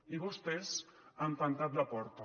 i vostès han tancat la porta